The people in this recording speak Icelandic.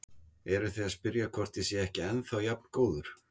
Eruð þið að spyrja hvort ég sé ekki ennþá jafn góður?